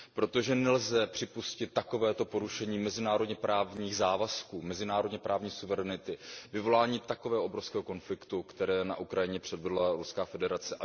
Protože nelze připustit takovéto porušení mezinárodněprávních závazků, mezinárodněprávní suverenity, vyvolání takového obrovského konfliktu, které na Ukrajině předvedla Ruská federace.